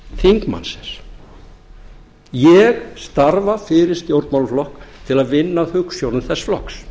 þingmannsins ég starfa fyrir stjórnmálaflokk til að vinna að hugsjónum þess flokks